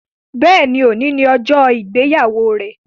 Béèni, òní ni ọjọ ìgbéyàwó rẹ